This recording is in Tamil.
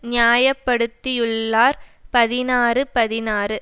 நியாய படுத்தியுள்ளார் பதினாறு பதினாறு